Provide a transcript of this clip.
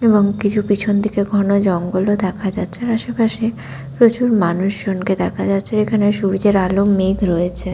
এবং কিছু পেছন থেকে ঘন জঙ্গল ও দেখা যাচ্ছে আশেপাশে প্রচুর মানুষজনকে দেখা যাচ্ছে এখানে সূর্যের আলো মেঘ রয়েছে।